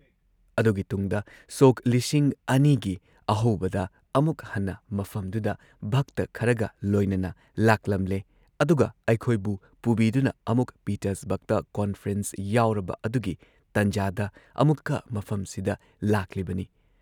ꯑꯗꯨꯒꯤ ꯇꯨꯨꯡꯗ ꯁꯣꯛ ꯲꯰꯰꯰ ꯒꯤ ꯑꯍꯧꯕꯗ ꯑꯃꯨꯛ ꯍꯟꯅ ꯃꯐꯝꯗꯨꯗ ꯚꯛꯇ ꯈꯔꯒ ꯂꯣꯏꯅꯅ ꯂꯥꯛꯂꯝꯂꯦ ꯑꯗꯨꯒ ꯑꯩꯈꯣꯏꯕꯨ ꯄꯨꯕꯤꯗꯨꯅ ꯑꯃꯨꯛ ꯄꯤꯇꯔꯁꯕꯔꯒꯇ ꯀꯣꯟꯐ꯭ꯔꯦꯟꯁ ꯌꯥꯎꯔꯕ ꯑꯗꯨꯒꯤ ꯇꯟꯖꯥꯗ ꯑꯃꯨꯛꯀ ꯃꯐꯝꯁꯤꯗ ꯂꯥꯛꯂꯤꯕꯅꯤ ꯫